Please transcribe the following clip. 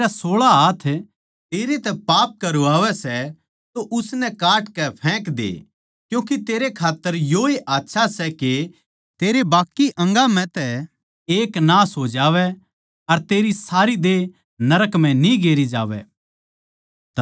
जै तेरा सोळा हाथ तेरे तै पाप करवावै सै तो उसनै काट के फेंक दे क्यूँके तेरै खात्तर योए आच्छा सै के तेरे बाक्की अंगा म्ह तै एक नाश हो जावै अर तेरी सारी देह नरक म्ह न्ही गेरी जावै